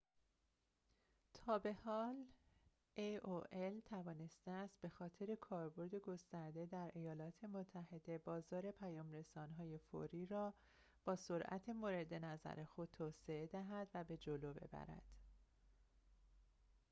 تابحال aol توانسته است به‌خاطر کاربرد گسترده در ایالات متحده بازار پیام‌رسان‌های فوری را با سرعت مورد نظر خود توسعه دهد و به جلو ببرد